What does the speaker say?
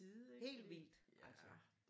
Helt vildt altså